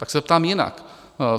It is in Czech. Tak se ptám jinak.